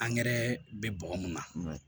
bɛ bɔgɔ mun na